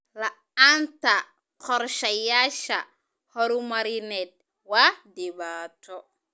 La'aanta qorshayaasha horumarineed waa dhibaato.